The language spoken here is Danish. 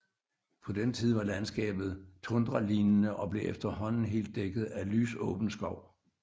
På den tid var landskabet tundralignende og blev efterhånden helt dækket af lysåben skov